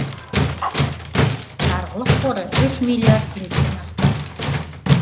жарғылық қоры үш миллиард теңгеден астам